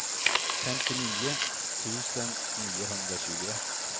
femtionio tusen niohundratjugoett